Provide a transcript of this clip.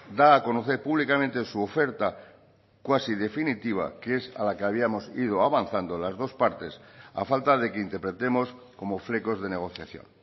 da a conocer públicamente su oferta cuasi definitiva que es a la que habíamos ido avanzando las dos partes a falta de que interpretemos como flecos de negociación